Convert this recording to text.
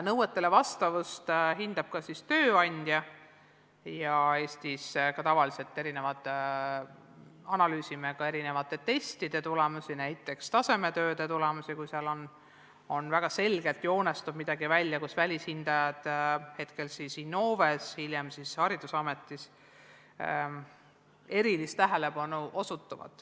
Nõuetele vastavust hindab ka tööandja ja Eestis me tavaliselt analüüsime testide tulemusi, näiteks tasemetööde tulemusi, ja kui seal väga selgelt midagi välja joonistub, siis osutavad välishindajad – hetkel Innoves, hiljem haridusametis – erilist tähelepanu.